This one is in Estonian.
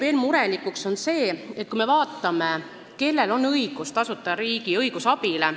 Murelikuks teeb veel see, kui me vaatame, kellel on õigus tasuta riigi õigusabile.